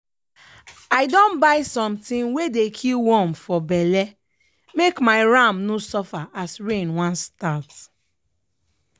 i don buy something wey dey kill worm for belle make my ram no suffer as rain wan start.